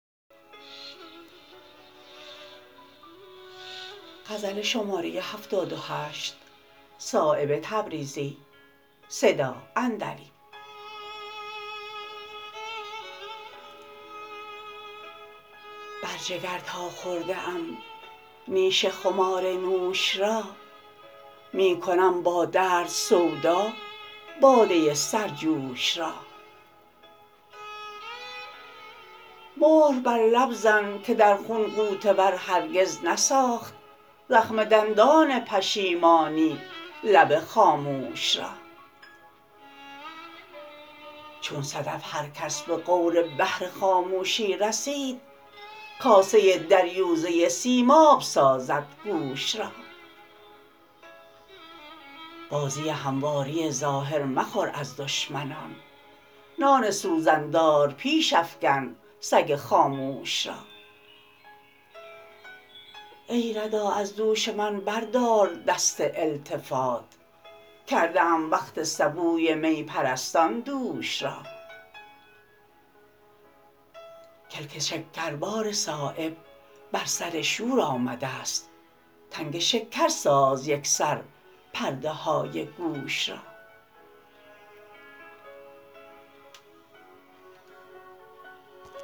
بر جگر تا خورده ام نیش خمار نوش را می کنم با درد سودا باده سرجوش را مهر بر لب زن که در خون غوطه ور هرگز نساخت زخم دندان پشیمانی لب خاموش را چون صدف هر کس به غور بحر خاموشی رسید کاسه دریوزه سیماب سازد گوش را بازی همواری ظاهر مخور از دشمنان نان سوزن دار پیش افکن سگ خاموش را ای ردا از دوش من بردار دست التفات کرده ام وقف سبوی می پرستان دوش را کلک شکربار صایب بر سر شور آمده است تنگ شکر ساز یکسر پرده های گوش را